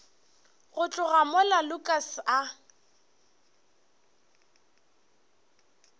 go tloga mola lukas a